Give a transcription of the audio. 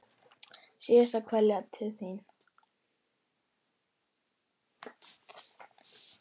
Síðasta kveðja til þín.